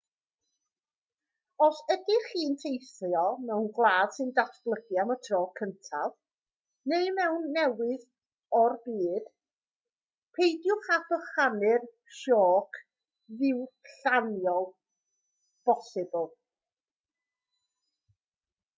os ydych chi'n teithio mewn gwlad sy'n datblygu am y tro cyntaf neu mewn rhan newydd o'r byd peidiwch â bychanu'r sioc ddiwylliannol bosibl